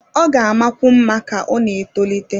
Ọ ga-amakwu mma ka ọ na-etolite